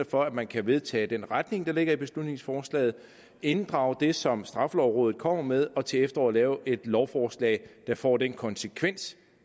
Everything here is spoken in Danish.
for at man kan vedtage den retning der ligger i beslutningsforslaget inddrage det som straffelovrådet kommer med og til efteråret lave et lovforslag der får den konsekvens